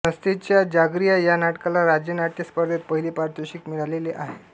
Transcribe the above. संस्थेच्या जागरिया या नाटकाला राज्यनाट्य स्पर्धेत पहिले पारितोषिक मिळालेले आहे